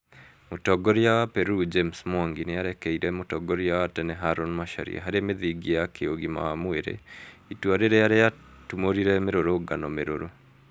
Mũtongoria wa Peru, James Mwangi nĩarekeire mũtongoria wa tene Haron Macharia harĩ mĩthingi ya kĩugima wa mwĩrĩ , itua rĩrĩa rĩatũmũrire mĩrũrũngano mĩrũrũ